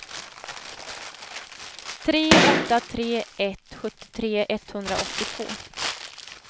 tre åtta tre ett sjuttiotre etthundraåttiotvå